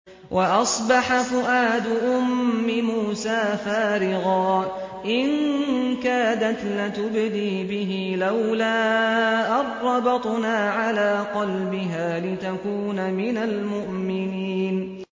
وَأَصْبَحَ فُؤَادُ أُمِّ مُوسَىٰ فَارِغًا ۖ إِن كَادَتْ لَتُبْدِي بِهِ لَوْلَا أَن رَّبَطْنَا عَلَىٰ قَلْبِهَا لِتَكُونَ مِنَ الْمُؤْمِنِينَ